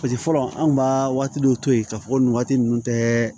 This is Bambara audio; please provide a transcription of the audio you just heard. fɔlɔ anw b'a waati dɔw to yen k'a fɔ ko nin waati ninnu tɛ